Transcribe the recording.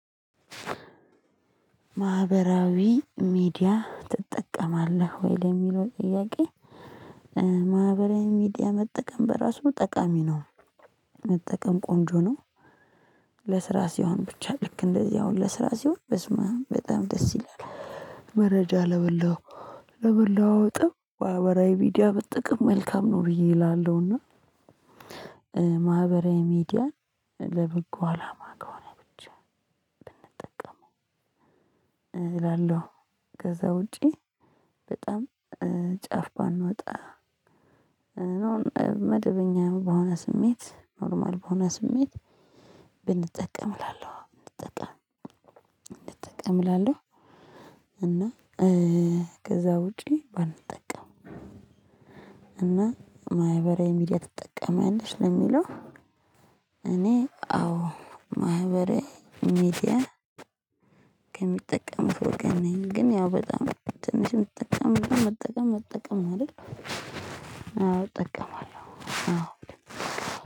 ማህበራዊ ሚዲያ ትጠቀማለህ ወይ ለሚለው ጥያቄ? ማህበራዊ ሚዲያ መጠቀም በራሱ ጠቃሚ ነው። መጠቀም ቆንጆ ነው። ለስራ ሲሆን ብቻ ልክ እንደዚህ አሁን ለስራ ሲሆን በስማም በጣም ደስ ይላል። መረጃ ለመላው ለመለዋወጥም ማህበራዊ ሚዲያ መጠቀም መልካም ነው ብዬ እላለሁና። ማህበራዊ ሚዲያ ለበጎ አላማ ከሆነ ብቻ ብንጠቀመው እላለሁ። ከዛ ውጪ በጣም ጫፍ ባንወጣ። እና መደበኛ በሆነ ስሜት ኖርማል በሆነ ስሜት ብንጠቀም እላለሁ እንጠቀም እንጠቀም እላለሁ። እና ከዛ ውጪ ባንጠቀም። እና ማህበራዊ ሚዲያ ትጠቀሚያለሽ ለሚለው? እኔ አዎ ማህበራዊ ሚዲያ ከሚጠቀሙት ወገን ነኝ ግን ያው በጣም ትንሽ የምትጠቀም በጣም መጠቀም መጠቀም ነው አይደል? አዎ እጠቀማለሁ አዎ